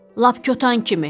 Lap kötan kimi.